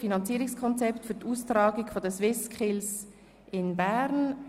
«Finanzierungskonzept für die Austragung der SwissSkills in Bern».